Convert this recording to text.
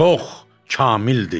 Çox kamildir.